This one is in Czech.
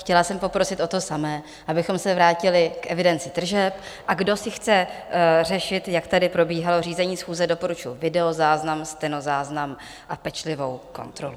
Chtěla jsem poprosit o to samé, abychom se vrátili k evidenci tržeb, a kdo si chce řešit, jak tady probíhalo řízení schůze, doporučuji videozáznam, stenozáznam a pečlivou kontrolu.